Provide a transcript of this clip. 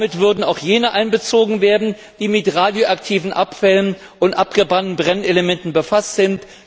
Damit würden auch jene einbezogen werden, die mit radioaktiven Abfällen und abgebrannten Brennelementen befasst sind.